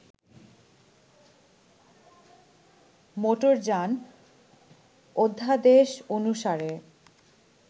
মোটরযান অধ্যাদেশ অনুসারে